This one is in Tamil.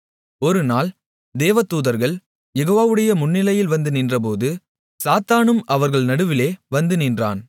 ஒருநாள் தேவதூதர்கள் யெகோவாவுடைய முன்னிலையில் வந்து நின்றபோது சாத்தானும் அவர்கள் நடுவிலே வந்து நின்றான்